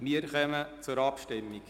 Wir kommen zur Abstimmung.